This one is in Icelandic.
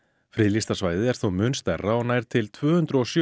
friðlýsta svæðið er þó mun stærra og nær til tvö hundruð og sjö